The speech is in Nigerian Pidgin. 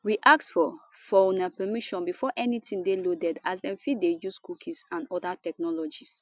we ask for for una permission before anytin dey loaded as dem fit dey use cookies and oda technologies